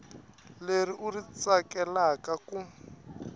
leri u ri tsakelaka ku